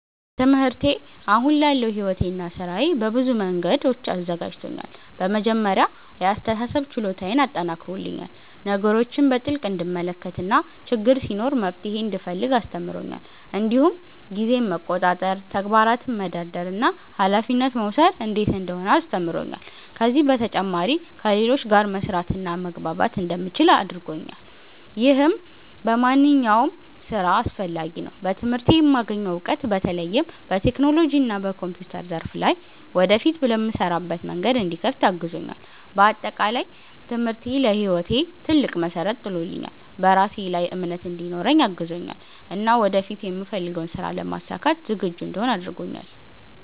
ትምህርቴ አሁን ላለው ሕይወቴና ሥራዬ በብዙ መንገዶች አዘጋጅቶኛል። በመጀመሪያ የአስተሳሰብ ችሎታዬን አጠናክሮልኛል፤ ነገሮችን በጥልቅ እንድመለከት እና ችግር ሲኖር መፍትሄ እንድፈልግ አስተምሮኛል። እንዲሁም ጊዜን መቆጣጠር፣ ተግባራትን መደርደር እና ኃላፊነት መውሰድ እንዴት እንደሆነ አስተምሮኛል። ከዚህ በተጨማሪ ከሌሎች ጋር መስራትና መግባባት እንደምችል አድርጎኛል፣ ይህም በማንኛውም ሥራ አስፈላጊ ነው። በትምህርቴ የማገኘው እውቀት በተለይም በቴክኖሎጂና በኮምፒውተር ዘርፍ ላይ ወደፊት ለምሰራበት መንገድ እንዲከፍት አግዞኛል። በአጠቃላይ ትምህርቴ ለሕይወቴ ትልቅ መሠረት ጥሎልኛል፤ በራሴ ላይ እምነት እንዲኖረኝ አግዞኛል እና ወደፊት የምፈልገውን ሥራ ለማሳካት ዝግጁ እንድሆን አድርጎኛል።